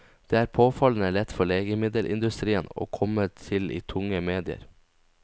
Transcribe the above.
Det er påfallende lett for legemiddelindustrien å komme til i tunge medier.